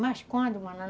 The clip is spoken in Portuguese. Mas quando?